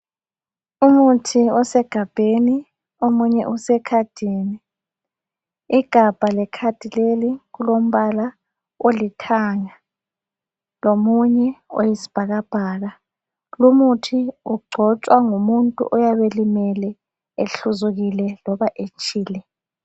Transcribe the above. Umuthi osegabheni omunye usekhadini. Igabha lekhadi leli kulombala olithanga lomunye oyisbhakabhaka. Lumuthi ugcotshwa ngumuntu yyabe elimele ehluzukile loba etshile.